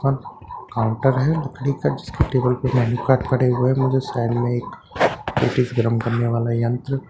Counter है लकड़ी का जिसकी टेबल पे डेबिट कार्ड पड़े हुए हैं मुझे साइड मे एक पेटिस गरम करने वाला यंत्र दिखा ।